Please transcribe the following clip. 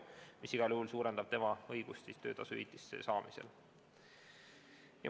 See igal juhul suurendab inimese töötasuhüvitist.